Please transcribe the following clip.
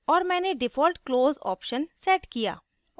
और मैंने default close operation set किया